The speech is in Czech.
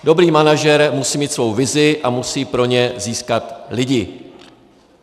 Dobrý manažer musí mít svoji vizi a musí pro ni získat lidi.